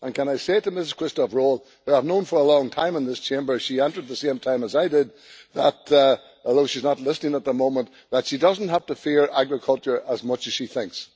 May I say to Ms Quisthoudt Rowohl whom I have known for a long time in this chamber as she entered the same time as I did, that, although she's not listening at the moment that she doesn't have to fear agriculture as much as she thinks.